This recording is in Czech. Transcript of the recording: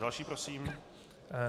Další prosím.